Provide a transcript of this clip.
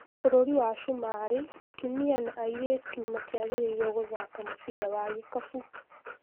Bũrũri wa Sumarĩ atumia na airĩtu matiagĩrĩiruo gũthaka mũbira wa gĩkabũ